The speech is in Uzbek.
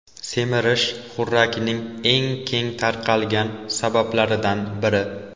Semirish xurrakning eng keng tarqalgan sabablaridan biri.